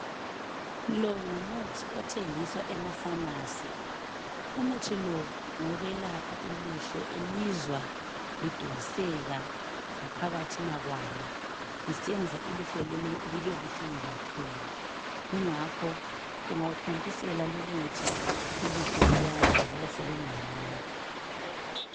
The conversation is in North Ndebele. Lo ngumuthi othengiswa emafamasi umuthi lo ngowokwelapha ilihlo elizwa lidonseka ngaphakathina kwalo lisenza ilihlo lelo libe buhlungu kakhulu kungakho ungawuthontisela lumuthi ilihlo liyazwakala selingconywana.